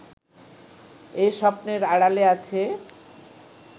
এই স্বপ্নের আড়ালে আছে